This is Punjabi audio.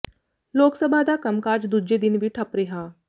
ਲੋਕ ਸਭਾ ਦਾ ਕੰਮਕਾਜ ਦੂਜੇ ਦਿਨ ਵੀ ਠੱਪ ਰਿਹਾ